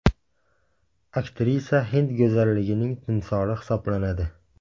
Aktrisa hind go‘zalligining timsoli hisoblanadi.